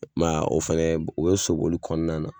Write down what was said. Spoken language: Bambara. I ma ye a, o fɛnɛ o bɛ so boli kɔnɔna na.